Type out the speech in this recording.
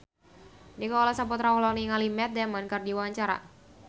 Nicholas Saputra olohok ningali Matt Damon keur diwawancara